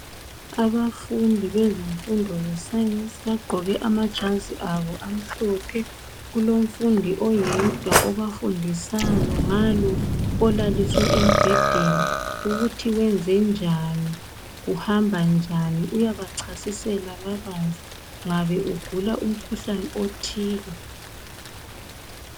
Abafundi bezifundo ze science bagqoke amajazi abo amhlophe. Kulomfundi oyedwa obafundisayo ngalo olaliswe embhedeni ukuthi kwenzenjani kuhamba njani uyabachasisela kabanzi. Ngabe ugula umkhuhlane othile.